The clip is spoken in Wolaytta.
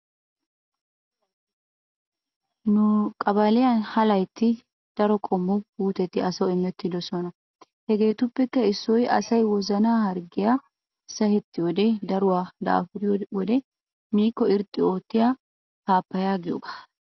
Nu qabaliyan ha laytti daro qommo puuteti asawu imettidosona. Hegeetuppekka issoy asayi wozanaa harggiyan sahettiyoodenne daruwa daafuriyo wode miikko irxxi oottiya paappayaa giyoogaa.